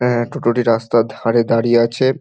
অ্যা টোটোটি রাস্তার ধারে দাঁড়িয়ে আছে।